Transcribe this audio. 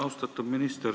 Austatud minister!